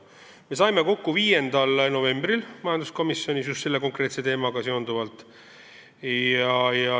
Me saime just selle konkreetse teemaga seonduvalt kokku 5. novembril.